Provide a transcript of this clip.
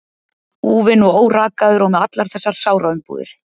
Úfinn og órakaður og með allar þessar sáraumbúðir.